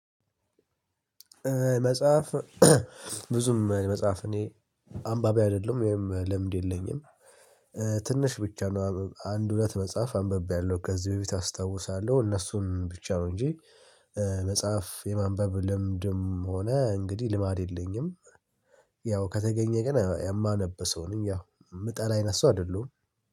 መጽሐፍ ብዙም መጽሐፍ እኔ አንባቢ አይደለሁም ወይም ልምድ የለኝም ትንሽ ብቻ ነው አንድ ሁለት መጽሐፍ አንብቤያለሁ ከዚህ በፊት አስታውሳለሁ እነሱን ብቻ ነው እንጂ መጽሐፍ የማንበብ ልምድም ሆነ እንግዲህ ልማድ የለኝም። ያው ከተገኘ ግን የማነብ ሰው ነኝ ያው የምጠላ አይነት ሰው አይደለሁም።